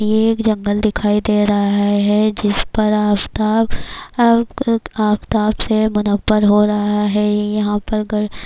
یہ ایک جنگلے دکھایی دے رہا ہے، جسپرآفتاب > آفتاب سے مناوور ہو رہا ہے، یھاں پر--